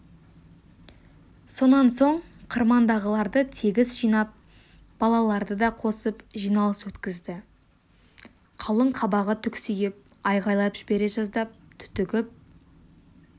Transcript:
сонан соң қырмандағыларды тегіс жинап балаларды да қосып жиналыс өткізді қалың қабағы түксиіп айқайлап жібере жаздап түтігіп